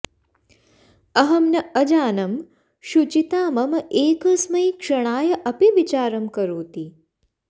अहं न अजानं शुचिता मम एकस्मै क्षणाय अपि विचारं करोति